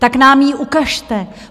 Tak nám ji ukažte.